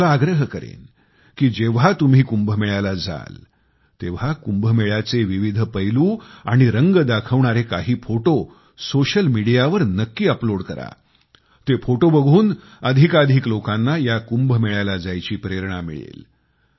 मी तुम्हाला आग्रह करेन की जेव्हा तुम्ही कुंभमेळ्याला जाल तेव्हा कुंभमेळ्याचे विविध पैलू आणि रंग दाखवणारे काही फोटो सोशल मिडियावर नक्की अपलोड करा ते फोटो बघून अधिकाधिक लोकांना या कुंभमेळ्याला जायची प्रेरणा मिळेल